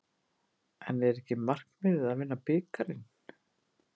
En er ekki markmiðið að vinna bikarinn?